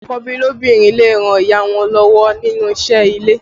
Àkọ́bí lóbìnrin lè ràn ìyá wọn lọ́wọ́ nínú isẹ́ ilé